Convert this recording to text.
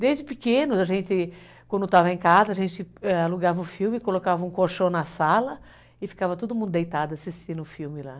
Desde pequenos, a gente, quando tesava em casa, a gente alugava o filme, colocava um colchão na sala e ficava todo mundo deitado assistindo o filme lá.